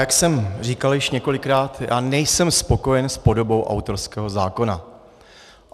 Jak jsem říkal již několikrát, já nejsem spokojen s podobou autorského zákona.